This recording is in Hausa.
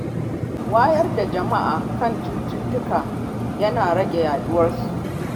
Wayar da kan jama’a kan cututtuka yana rage yaduwar su.